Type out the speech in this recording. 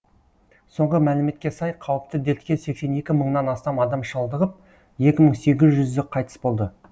соңғы мәліметке сай қауіпті дертке сексен екі мыңнан астам адам шалдығып екі мың сегіз жүзі қайтыс болды